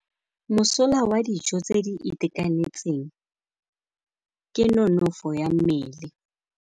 Mosola wa dijô tse di itekanetseng ke nonôfô ya mmele.